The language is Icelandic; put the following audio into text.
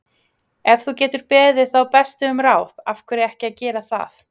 Ef þú getur beðið þá bestu um ráð, af hverju ekki að gera það?